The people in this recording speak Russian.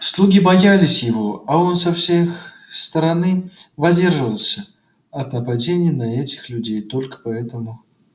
слуги боялись его а он со всех стороны воздерживался от нападений на этих людей только поэтому